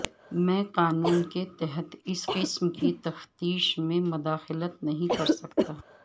میں قانون کے تحت اس قسم کی تفتیش میں مداخلت نہیں کر سکتا